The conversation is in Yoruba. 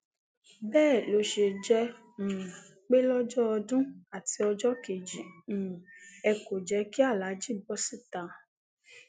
bẹẹ ló ṣe jẹ um pé lọjọ ọdún àti ọjọ kejì um ẹ kò jẹ kí aláàjì bọ síta